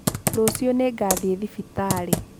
Rũciũ nĩ ngathiĩ thibitarĩ.